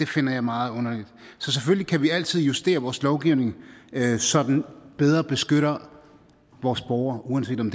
finder jeg meget underligt selvfølgelig kan vi altid justere vores lovgivning så den bedre beskytter vores borgere uanset om